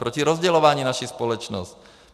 Proti rozdělování naší společnosti.